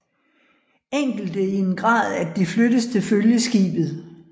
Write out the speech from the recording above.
Enkelte i en grad at de flyttes til følgeskibet